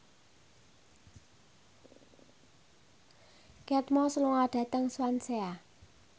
Kate Moss lunga dhateng Swansea